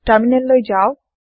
terminal লৈ যাওক